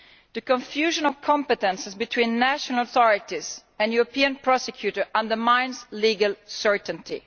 The confusion of competences between national authorities and the European Prosecutor undermines legal certainty.